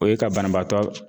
O ye ka banabaatɔ.